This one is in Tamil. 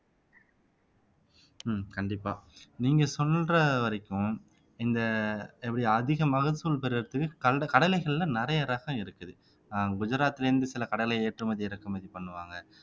உம் கண்டிப்பா நீங்க சொல்ற வரைக்கும் இந்த எப்படி அதிக மகசூல் பெருறதுக்கு கடலைகள்ல நிறைய ரகம் இருக்குது அஹ் குஜராத்ல இருந்து சில கடலை ஏற்றுமதி இறக்குமதி பண்ணுவாங்க